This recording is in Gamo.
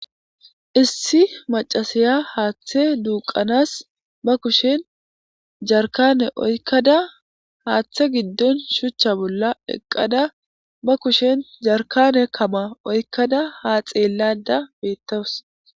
Issi maccasiya haaththe duuqqanas ba kushen jarkane oykkada haaththe giddon shuchcha bolla eqqada ba kushen jarkane kama oykkada ha xeellayda beettawus.